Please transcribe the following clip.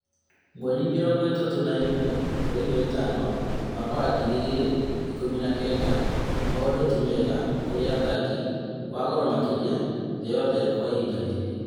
Mweri mĩrongo ĩtatũ na ĩmwe mweri wa ĩtano, mwaka wa ngiri igĩrĩ ikũmi na kenda, maũndũ timega kũrĩ athaki wagoro makĩria thĩ yothe kwa ihinda rĩrĩ